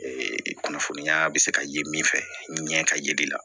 kunnafoniya bɛ se ka ye min fɛ ɲɛ ka ye i la